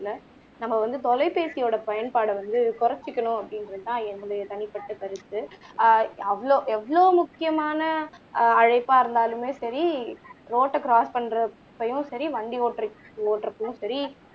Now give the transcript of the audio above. நம்ம வந்து தொலைபேசியோட பயன்பாட வந்து குறைச்சிக்கணும் அப்படின்றது தான் என்னோட தனிப்பட்ட கருத்து ஆஹ் அவ்வளவு எவ்வளவு முக்கியமான ஆஹ் அழைப்பா இருந்தாலுமே சரி ரோட்ட க்ராஸ் பண்ற டைமும் சரி வண்டி ஓட்ற ஓட்றப்பவும் சரி